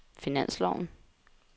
finansloven